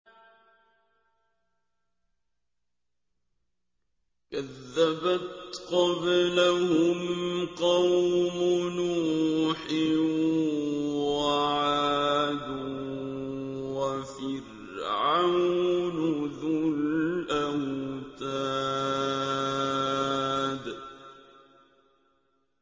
كَذَّبَتْ قَبْلَهُمْ قَوْمُ نُوحٍ وَعَادٌ وَفِرْعَوْنُ ذُو الْأَوْتَادِ